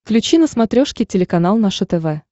включи на смотрешке телеканал наше тв